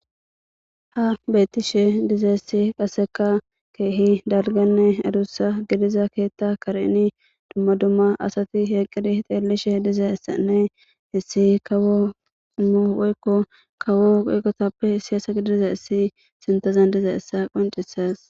ha beyttishe dizayissi qaseka keehi dalganne adussa gidiza keetta kareni dumma dumma asati eeqqidi xeellishe dizayissanne issi kawo ummo woykko kawo woyqotappe issi asa gidizayissi sintazan dizayissa qoncisas